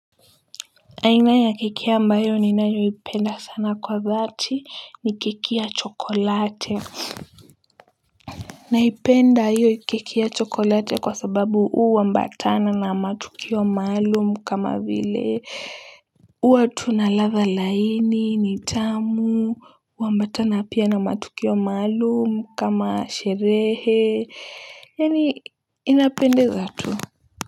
Aina ya keki ambayo ninayoipenda sana kwa dhati ni keki ya chokolate. Naipenda hiyo keki chokolate kwa sababu huambatana na matukio maalum kama vile uwa tu na ladha laini ni tamu huambatana pia na matukio maalum kama sherehe yaani inapendeza tu.